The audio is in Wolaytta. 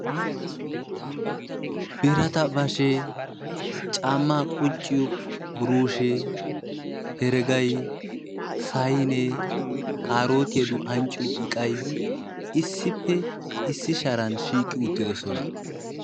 birata bashhe, caamaa qucciyo buiruushe. heregay. saynee, kaarootiyaduwa ancciyo iqqay issippe issi sharan shiiqi uttidosona.